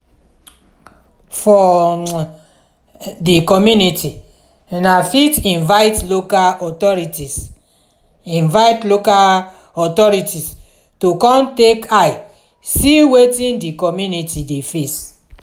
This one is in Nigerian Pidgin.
for um di community una fit invite local authorities invite local authorities to come take eye see wetin di commumity dey face